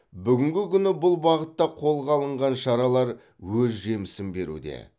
бүгінгі күні бұл бағытта қолға алынған шаралар өз жемісін беруде